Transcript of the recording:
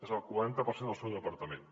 és el quaranta per cent del seu departament